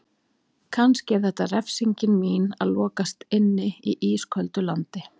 Kannski er þetta refsingin mín: Að lokast inni í ísköldu landi.